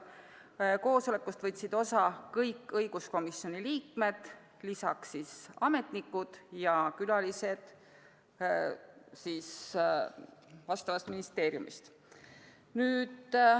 Koosolekust võtsid osa kõik õiguskomisjoni liikmed, samuti ametnikud ja külalised vastavast ministeeriumist.